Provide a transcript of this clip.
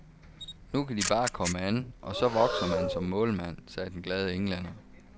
Nu kan de bare komme an, og så vokser man som målmand, sagde den glade englænder.